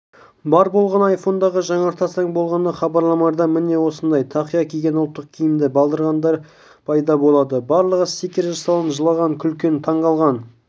бар болғаны айфондағы жаңартасаң болғаны хабарламаларда міне осындай тақия киген ұлттық киімді балдырғандар пайда болады барлығы стикер жасалған жылаған күлген таңқалған